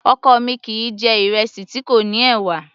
Ọkọ mi kìí jẹ̀ ìrẹsì tí kò ní ẹ̀wà